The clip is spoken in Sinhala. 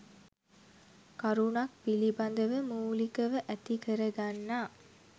කරුණක් පිළිබඳව මූලිකව ඇති කරගන්නා